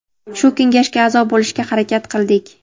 shu kengashga a’zo bo‘lishga harakat qildik.